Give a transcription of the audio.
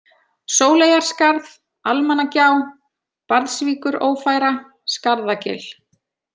Sóleyjarskarð, Almannagjá, Barðsvíkurófæra, Skarðagil